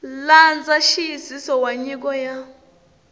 landza nxiyisiso wa nyiko ya